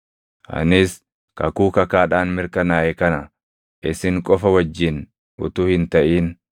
Anis kakuu kakaadhaan mirkanaaʼe kana isin qofa wajjin utuu hin taʼin,